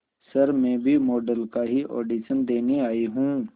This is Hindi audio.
सर मैं भी मॉडल का ही ऑडिशन देने आई हूं